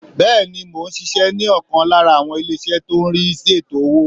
Bẹ́ẹ̀ni mò n ṣíṣẹ́ ní ọ̀kan lára àwọn ilé ìṣẹ́ tó n rí sí ètò owó